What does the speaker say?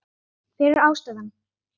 Hver er ástæðan?